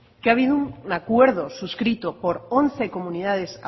que ha habido un acuerdo suscrito por once comunidades